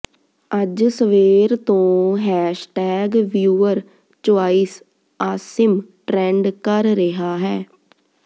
ਅੱਜ ਸਵੇਰ ਤੋਂ hashtag viewer choice Asim trend ਕਰ ਰਿਹਾ ਹੈ